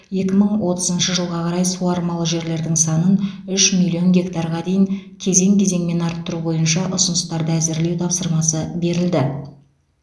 екі мың отызыншы жылға қарай суармалы жерлердің санын үш миллион гектарға дейін кезең кезеңмен арттыру бойынша ұсыныстарды әзірлеу тапсырмасы берілді